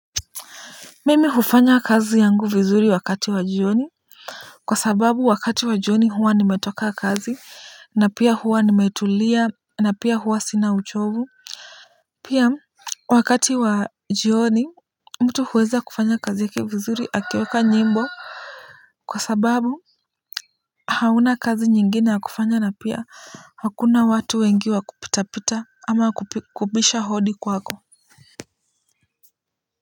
Mimi hufanya kazi yangu vizuri wakati wa jioni, kwa sababu wakati wa jioni huwa nimetoka kazi na pia huwa nimetulia na pia huwa sina uchovu. Pia wakati wa jioni mtu huweza kufanya kazi yake vizuri akiweka nyimbo. Kwa sababu hauna kazi nyingine ya kufanya na pia hakuna watu wengi wa kupitapita ama kubisha hodi kwako. Kwa hivyo.